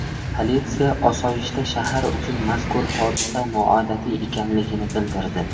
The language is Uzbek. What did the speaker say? Politsiya osoyishta shahar uchun mazkur hodisa noodatiy ekanligini bildirdi.